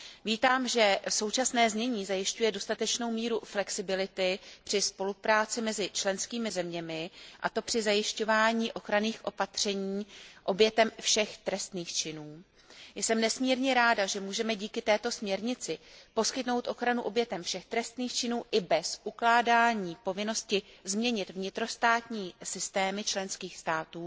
Vítám, že současné znění zajišťuje dostatečnou míru flexibility při spolupráci mezi členskými zeměmi, a to při zajišťování ochranných opatření obětem všech trestných činů. Jsem nesmírně ráda, že můžeme díky této směrnici poskytnout ochranu obětem všech trestných činů i bez ukládání povinnosti změnit vnitrostátní systémy členských států